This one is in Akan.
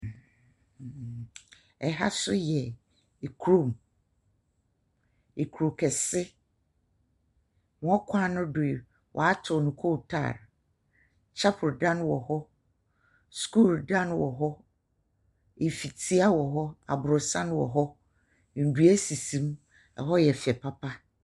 Ɛha nso yɛ kurom. Kuro kɛse. Wɔn kwan no do yi, wɔato no kootaale. Chapel dan wɔ hɔ. School da wɔ hɔ. Fitia wɔ hɔ. Aborosan wɔ hɔ. Ndua sisim. Hɔ yɛ fɛ papa.